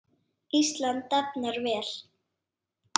Ísland dafnar vel.